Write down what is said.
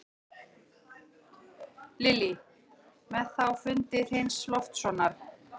Hann ók sér í stólnum og fitlaði við tilfinningalausa fingurinn.